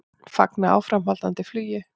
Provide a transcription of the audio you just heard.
Fagna áframhaldandi flugi